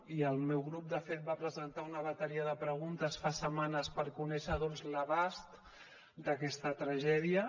i el meu grup de fet va presentar una bateria de preguntes fa setmanes per conèixer doncs l’abast d’aquesta tragèdia